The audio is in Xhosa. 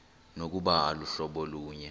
nokuba aluhlobo lunye